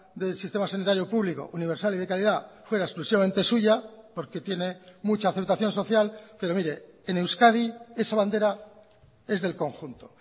del sistema sanitario público universal y de calidad fuera exclusivamente suya porque tiene mucha aceptación social pero mire en euskadi esa bandera es del conjunto